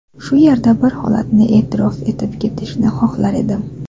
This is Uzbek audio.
Shu yerda bir holatni e’tirof etib ketishni xohlar edim.